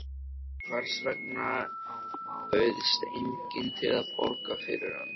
Hvers vegna bauðst enginn til að borga fyrir hann?